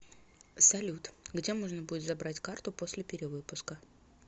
салют где можно будет забрать карту после перевыпуска